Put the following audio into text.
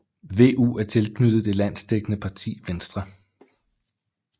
VU er tilknyttet det landsdækkende parti Venstre